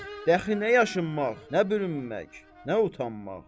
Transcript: Dəxli nə yaşınmaq, nə bürünmək, nə utanmaq.